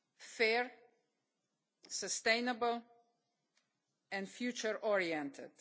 fair, sustainable and future oriented.